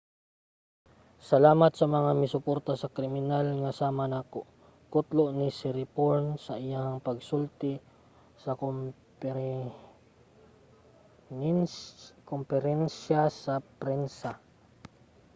"salamat sa mga misuporta sa kriminal nga sama nako, kutlo ni siriporn sa iyang pagsulti sa komperensiya sa prensa